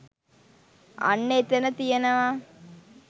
අන්න එතන තියෙනවා